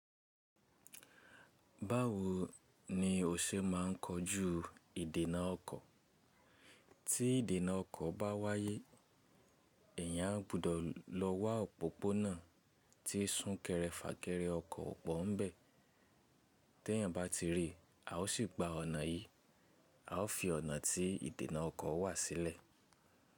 Báwo ni o ṣe ma ń kojú ìdènà ọkọ̀? Tí ìdènà ọkọ̀ bá wáyé, èèyàn á gbúdọ̀ lọ wá òpópónà tí súnkẹrẹ fàkẹrẹ ọkọ̀ o pọ́ n bẹ̀. Tẹ́ èèyàn bá ti rí i, a ó sì gba ọ̀nà yìí, a ó fi ọ̀nà tí ìdènà ọkọ̀ wà sílẹ̀.